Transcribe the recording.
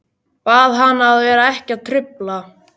Bað hana að vera ekki að trufla.